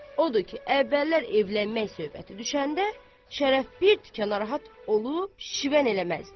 Odur ki, əvvəllər evlənmək söhbəti düşəndə Şərəf bir tikə narahat olub şivən eləməzdi.